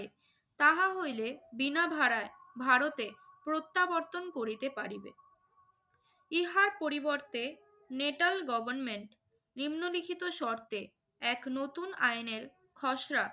তাহা হইলে বিনা ভাড়ায় ভারতে প্রত্যাবর্তন করিতে পারিবে। ইহার পরিবর্তে নেটাল গভর্নমেন্ট নিম্নলিখিত শর্তে এক নতুন আইনের খসড়া